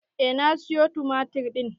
Eh na sayo tumatir ɗin.